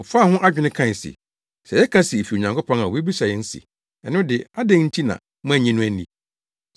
Wɔfaa ho adwene kae se, “Sɛ yɛka se efi Onyankopɔn a obebisa yɛn se, ‘ɛno de, adɛn nti na moannye no anni?’